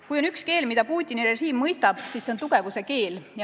Kui on üks keel, mida Putini režiim mõistab, siis see on tugevuse keel.